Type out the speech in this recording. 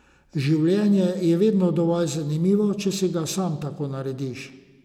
Življenje je vedno dovolj zanimivo, če si ga sam tako narediš.